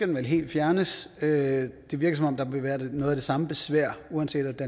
den vel helt fjernes det virker som om der vil være noget af det samme besvær uanset